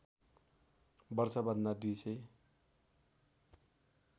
वर्षभन्दा २ सय